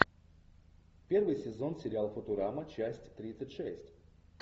первый сезон сериал футурама часть тридцать шесть